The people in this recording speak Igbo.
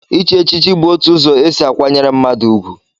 Ichi echichi bụ òtù ụzọ esi akwanyere mmadụ ugwu.